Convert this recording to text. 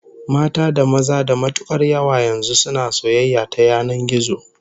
Mata da maza da matukar yawa yanzu suna soyayya ta yanan gizo